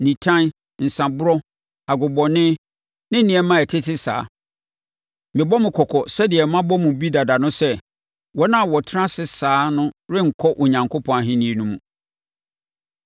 nitan, nsãborɔ, agobɔne, ne nneɛma a ɛtete saa. Mebɔ mo kɔkɔ sɛdeɛ mabɔ mo bi dada no sɛ, wɔn a wɔtena ase saa no renkɔ Onyankopɔn Ahennie no mu.